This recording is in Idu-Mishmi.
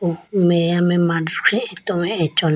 meya mai mandikhi atowe achola.